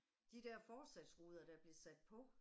De der forsatsruder der blev sat på